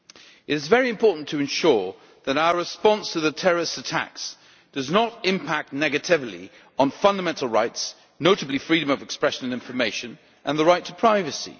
It is very important to ensure that our response to terrorist attacks does not impact negatively on fundamental rights, notably freedom of expression and information and the right to privacy.